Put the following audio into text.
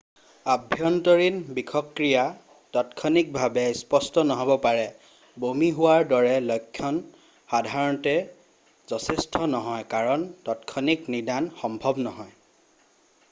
আভ্য়ন্তৰীণ বিষক্ৰিয়া তাৎক্ষণিকভাৱে স্পষ্ট নহ'ব পাৰে বমি হোৱাৰ দৰে লক্ষণ সধাৰণতে যথেষ্ট হয় কাৰণ তাৎক্ষণিক নিদান সম্ভৱ নহয়